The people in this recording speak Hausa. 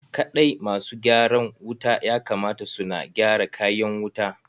Kaɗai ma su gyaran wuta ya kamata su na gyara kayan wuta.